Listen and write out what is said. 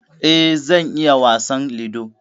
E, zan iya wasan Ludo.